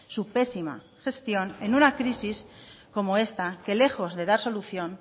su pésima gestión en una crisis como esta que lejos de dar solución